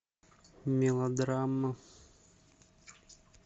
мелодрама